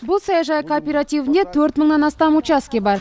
бұл саяжай кооперативіне төрт мыңнан астам учаске бар